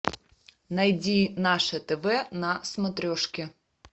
найди наше тв на смотрешке